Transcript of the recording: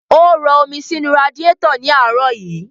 Ó rọ omi sínu radiétọ̀ ní àárọ̀ yí.